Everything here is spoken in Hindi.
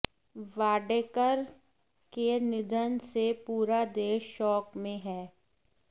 वाडेकर के निधन से पूरा देश शोक में है